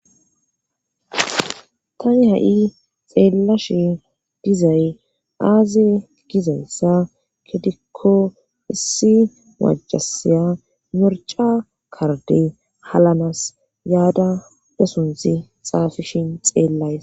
Tani ha7i xeellashe dizay aaze gizayssa kedikko issi majasiya morca karde halanas yaada desunthi xaafishin xeellays